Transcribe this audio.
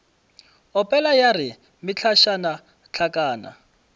opela ya re mehlašana hlakana